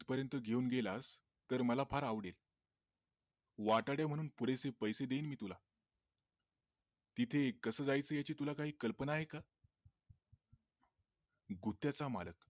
तिथपर्यंत घेऊन गेलास तर मला फार आवडेल वाटाडे म्हणून मी तुला थोडेसे पैसे देईन मी तुला तिथे कसं जायचं आहे याची तुला काही कल्पना आहे का? गुत्याचा मालक